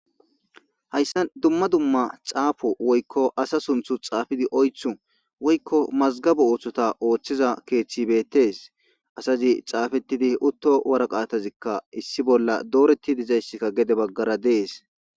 hayssa duma duma xaafo woykko asa sunthu xaafidi oythu woykko mazgaba ooththota ooththiza keeththibettes asazi xaafettidi utto waraqaatazikka issi bolla dooreti dizayssikka gede baggara dees